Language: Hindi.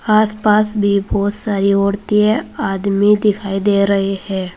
आसपास भी बहुत सारी औरतें आदमी दिखाई दे रहे हैं।